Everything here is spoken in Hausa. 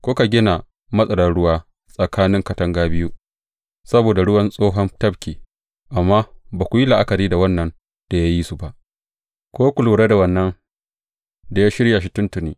Kuka gina matarar ruwa tsakanin katanga biyu saboda ruwan Tsohon Tafki, amma ba ku yi la’akari da Wannan da ya yi su ba, ko ku kula da Wannan da ya shirya shi tuntuni.